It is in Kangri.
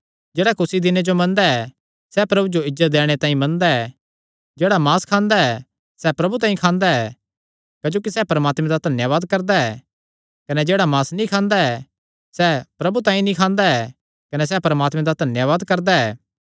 जेह्ड़ा कुसी दिने जो मनदा ऐ सैह़ प्रभु जो इज्जत दैणे तांई मनदा ऐ जेह्ड़ा मांस खांदा ऐ सैह़ प्रभु तांई खांदा ऐ क्जोकि सैह़ परमात्मे दा धन्यावाद करदा ऐ कने जेह्ड़ा मांस नीं खांदा सैह़ प्रभु तांई नीं खांदा ऐ कने सैह़ परमात्मे दा धन्यावाद करदा ऐ